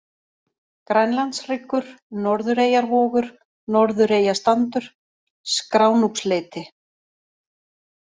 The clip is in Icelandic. Grænlandshryggur, Norðureyjavogur, Norðureyjastandur, Skránúpsleiti